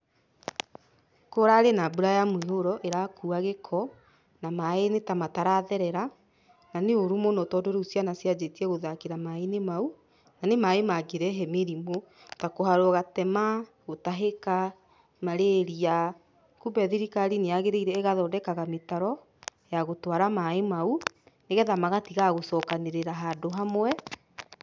Kũrarĩ na mbura ya mũiyũro ĩrakua gĩko, na maaĩ nĩtamataratherera. Na nĩ ũru mũno tondũ rĩu ciana ciambĩtie gũthakĩra maaĩinĩ mau, na nĩ maaĩ mangĩrehe mĩrimũ ta kũharwo gatema, gũtahĩka, marĩria, kumbe thirikari nĩyagĩrĩire ĩgathondekaga mĩtaro ya gũtwara maaĩ mau nĩgetha magatiga gũcokanĩrĩra handũ hamwe.